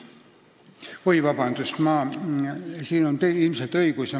Palun vabandust, teil on täiesti õigus.